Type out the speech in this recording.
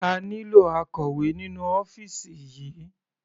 A nílò akọ̀wé nínú ọ́fìsì yìí.